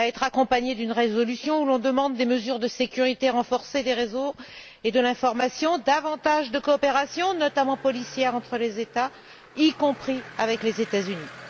Il sera accompagné d'une résolution dans laquelle nous demandons des mesures de sécurité renforcées des réseaux et de l'information, davantage de coopération, notamment policière, entre les États, y compris avec les États Unis.